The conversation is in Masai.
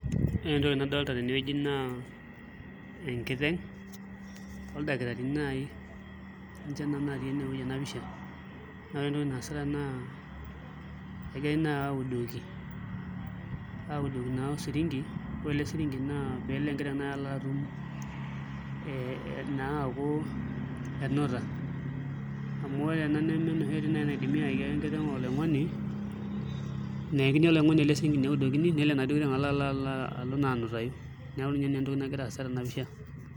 Ore entoki nadolita tenewueji naa enkiteng' oldakitarini naai ninche naa naatii ena pisha naa ore entoki naasita naa egirai naai audoki naa osiringi ore ele siringi naa pee elo enkiteng' nai atum ee naa aaku enuta amu ore ena neme enoshi oitoi nai nayakini enkiteng' oloing'oni nelo naa enaduo kiteng' alo naa anutayu neeku naa ina nagira aasa tena pisha